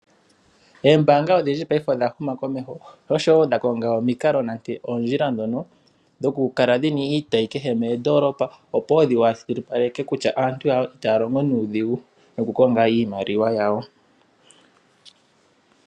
Oombaanga adhindji paife odha huma komeho, sho osho wo dha konga omikalo, nenge oondjila dhono dhokukala dhina iitayi kehe mondoolopa. Opo wo dhi washilipaleke kutya aantu itaya longo nuudhigu nokukonga iimaliwa yawo.